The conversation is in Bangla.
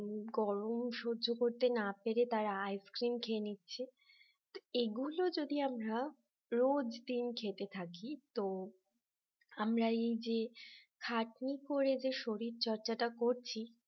গরম সহ্য করতে না পেরে তারা ce cream খেয়ে নিচ্ছে এগুলো যদি আমরা রোজ দিন খেতে থাকি তো আমরা এই যে খাটনি করে যে শরীরচর্চাটা করছি